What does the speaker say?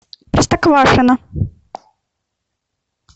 простоквашино